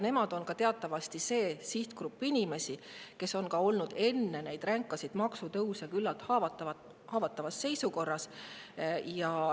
Nemad on teatavasti see sihtgrupp inimesi, kes on olnud juba enne neid ränkasid maksutõuse küllalt haavatavas seisukorras.